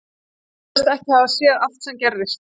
Hann sagðist ekki hafa séð allt sem gerðist.